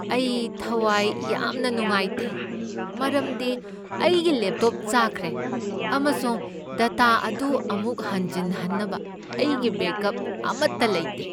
ꯑꯩ ꯊꯋꯥꯢ ꯌꯥꯝꯅ ꯅꯨꯡꯉꯥꯢꯇꯦ ꯃꯔꯝꯗꯤ ꯑꯩꯒꯤ ꯂꯦꯞꯇꯣꯞ ꯆꯥꯛꯈ꯭ꯔꯦ ꯑꯃꯁꯨꯡ ꯗꯇꯥ ꯑꯗꯨ ꯑꯃꯨꯛ ꯍꯟꯖꯤꯟꯅꯕ ꯑꯩꯒꯤ ꯕꯦꯛꯑꯞ ꯑꯃꯠꯇ ꯂꯩꯇꯦ꯫